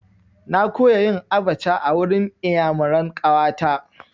Na koya yin abaca a wurin iyamuran ƙawa ta.